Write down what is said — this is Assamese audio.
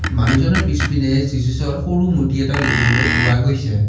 মানুহজনৰ পিছপিনে যিশুছৰ সৰু মূৰ্ত্তি এটাও দেখিবলৈ পোৱা গৈছে।